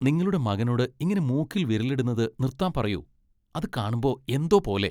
നിങ്ങളുടെ മകനോട് ഇങ്ങനെ മൂക്കിൽ വിരലിടുന്നത് നിർത്താൻ പറയൂ. അത് കാണുമ്പോ എന്തോ പോലെ.